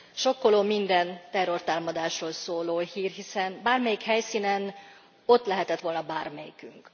Sokkoló minden terrortámadásról szóló hír, hiszen bármelyik helyszínen ott lehetett volna bármelyikünk.